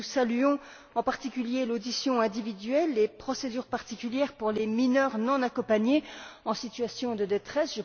Nous saluons en particulier l'audition individuelle et les procédures particulières pour les mineurs non accompagnés en situation de détresse.